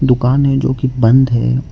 दुकान है जोकि बंद है।